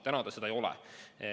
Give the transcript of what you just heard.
Praegu ta seda ei ole.